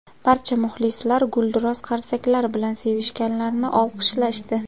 Barcha muxlislar gulduros qarsaklar bilan sevishganlarni olqishlashdi.